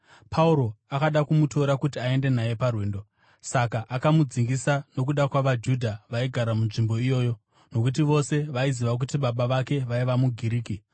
Pauro akada kumutora kuti aende naye parwendo, saka akamudzingisa nokuda kwavaJudha vaigara munzvimbo iyoyo, nokuti vose vaiziva kuti baba vake vaiva muGiriki.